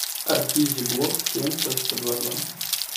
артизи блок семь точка два два